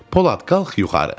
Polad, qalx yuxarı.